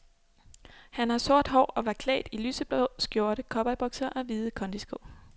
Han har sort hår og var klædt i lyseblå skjorte, cowboybukser og hvide kondisko.